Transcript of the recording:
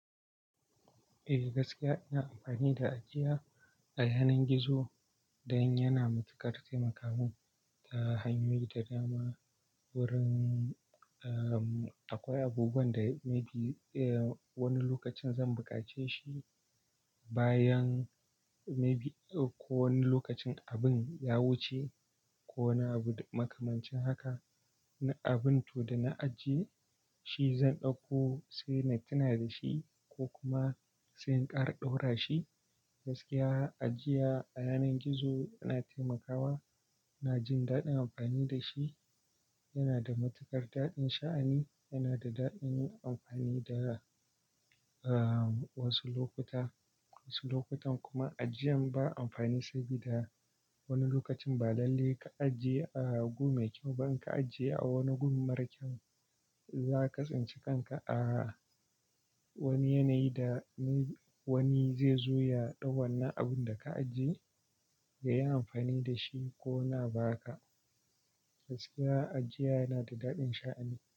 Eh gaskiya ina amfani da ajiya a yanar gizo dan yana matukar taimaka mun ta hanyoyi da dama. Wurin akwai abubuwan da a wani lokacin zan bukace shi bayan may be ko wani lokacin abin ya wuce ko na makamancin haka. Na abin to da na ajiye shi zan ɗauko sai na tuna da shi ko kuma sai in kara ɗaura shi. Gaskiya ajiya a yanar gizo yana taimakawa, ina jin daɗin amfani da shi. Yana da matukar daɗin sha'ani, yana da daɗin yin amfani da wasu lokuta. Wasu lokutan kuma ajiyan ba amfani sa bi da wani lokacin ba lalle ka ajiye a gun mai kyau ba, in ka ajiye a wani gun mara kyau zaka tsinci kanka a wani yanayi da wani zai zo ya ɗau wannann abun da ka ajiye yayi amfani da shi ko na baka. Gaskiya ajiya yana da daɗin sha'ani.